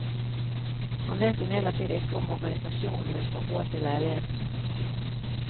Han vet imidlertid ikke om organisasjonen vil få råd til leilighetene.